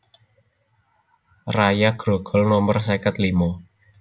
Raya Grogol nomer seket limo